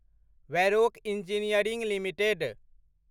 Varroc engineering limited